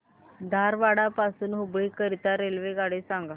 धारवाड पासून हुबळी करीता रेल्वेगाडी सांगा